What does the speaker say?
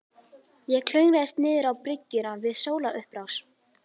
Ég klöngraðist niðrá bryggjuna við sólarupprás.